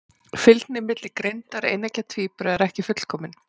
Fylgni milli greindar eineggja tvíbura er ekki fullkomin.